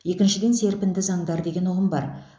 екіншіден серпінді заңдар деген ұғым бар